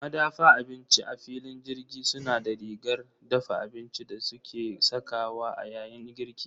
Madafa abinci a filin jirgi suna da rigar dafa abinci da suke sakawa a yayin girki.